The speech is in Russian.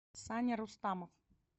саня рустамов